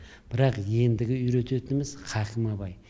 бірақ ендігі үйрететініміз хакім абай